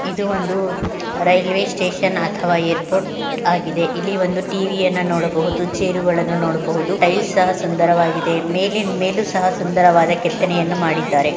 ಇದು ಒಂದು railway station ಅಥವಾ ಎರ್ಪೋರ್ಟ್ ಆಗಿದೆ ಇಲ್ಲಿ ಒಂದು ಟಿ.ವಿ ಯನ್ನ ನೋಡಬಹುದು ಚೈರು ಗಳನ್ನ ನೋಡಬಹುದು ಟೈಲ್ಸ್ ಸಹ ಸುಂದರವಾಗಿದೆ ಮೇಲಿನ ಮೇಲೂ ಸಹ ಸುಂದರವಾಗಿ ಕೆತ್ತನೆ ಮಾಡಿದ್ದಾರೆ .